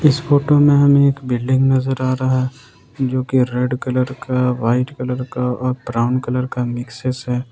इस फोटो में हम एक बिल्डिंग नजर आ रहा जोकि रेड कलर का व्हाइट कलर का और ब्राउन कलर का मिक्सेस है ।